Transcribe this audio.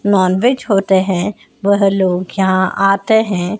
Nonveg होते हैं वह लोग यहां आते हैं।